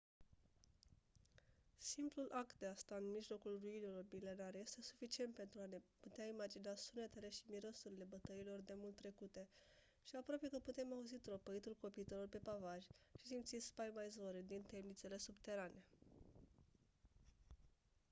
simplul act de a sta în mijlocul ruinelor milenare este suficient pentru a ne putea imagina sunetele și mirosurile bătăliilor demult trecute și aproape că putem auzi tropăitul copitelor pe pavaj și simți spaima izvorând din temnițele subterane